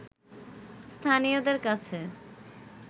স্থানীয়দের কাছে